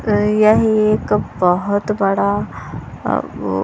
अ यह एक बहुत बड़ा अम् --